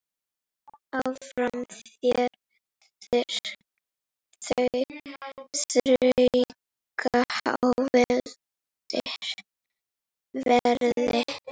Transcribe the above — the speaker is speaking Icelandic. Áfram hér þrauka á verði.